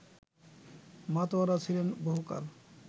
মাতোয়ারা ছিলেন বহুকাল